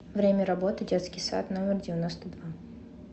время работы детский сад номер девяносто два